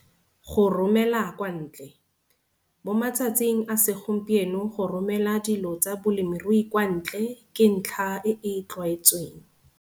Go romela kwa ntle - mo matsatsing a segompieno go romela dilo tsa bolemirui kwa ntle ke ntlha e e tlwaetsweng.